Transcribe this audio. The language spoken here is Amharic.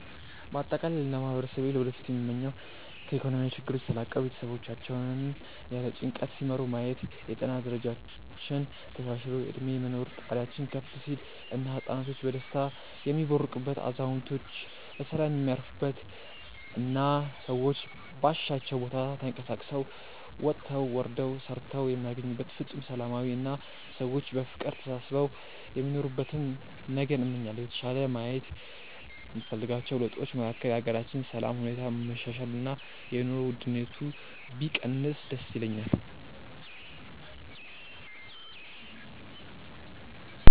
በአጠቃላይ ለማህበረሰቤ ለወደፊቱ ምመኘው ከኢኮኖሚያዊ ችግሮች ተላቀው ቤተሰቦቻቸውን ያለ ጭንቀት ሲመሩ ማየት፣ የጤና ደረጃችን ተሻሽሎ የእድሜ የመኖር ጣሪያችን ከፍ ሲል እና ህፃናቶች በደስታ የሚቦርቁበት፣ አዛውንቶች በሰላም የሚያርፉበት እና ሰዎች ባሻቸው ቦታ ተንቀሳቅሰው ወጥተው ወርደው ሰርተው የሚያገኙበት ፍፁም ሰላማዊ አና ሰዎች በፍቅር ተሳስበው የሚኖሩበትን ነገን እመኛለሁ። የተሻለ ማየት የምፈልጋቸው ለውጦች መካከል የሀገራችንን የሰላም ሁኔታ መሻሻል እና የኑሮ ውድነቱ ቢቀንስ ደስ ይለኛል።